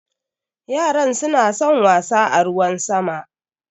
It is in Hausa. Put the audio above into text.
Yaran suna son wasa a ruwan sama.